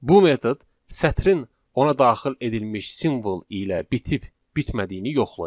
Bu metod sətrin ona daxil edilmiş simvol ilə bitib bitmədiyini yoxlayır.